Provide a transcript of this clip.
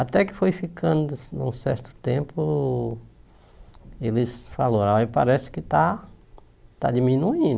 Até que foi ficando, um certo tempo, eles falaram, olha, parece que está está diminuindo.